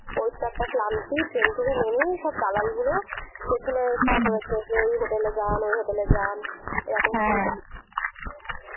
ওইতো একটা ক্লান্তি, ট্রেন থেকে নেমেই সব দালাল গুলো পেছনে এসে যে এই হোটেলে যান ওই হোটেলে যান হ্যাঁ